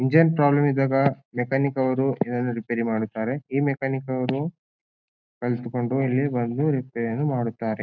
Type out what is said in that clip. Engine problem ಇದ್ದಾಗ mechanic ಅವ್ರು ಇದೆಲ್ಲಾ ರಿಪೇರಿ ಮಾಡುತ್ತಾರೆ ಈ ಮೆಕ್ಯಾನಿಕ್ ಅವ್ರು ಕಲಿತುಕೊಂಡು ಇಲ್ಲಿ ಬಂದು ರಿಪೇರಿಯನ್ನು ಮಾಡುತ್ತಾರೆ.